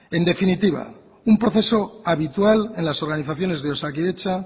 en definitiva un proceso habitual en las organizaciones de osakidetza